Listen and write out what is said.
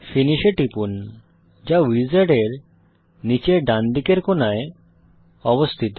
finish এ টিপুন যা উইজার্ডের নীচের ডানদিকের কোণার অবস্থিত